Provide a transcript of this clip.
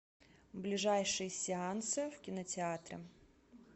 ближайшие сеансы в кинотеатре